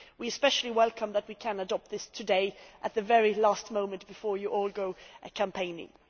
We especially welcome that we can adopt this today at the very last moment before you all go campaigning.